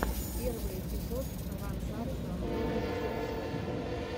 первый эпизод ранзар рандомные зарисовки